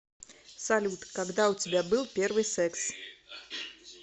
салют когда у тебя был первый секс